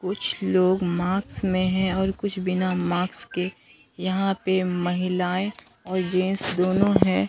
कुछ लोग माक्स में हैं और कुछ बिना माक्स के यहां पे महिलाएं और जेंस दोनों हैं।